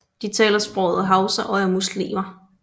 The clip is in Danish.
De taler sproget hausa og er muslimer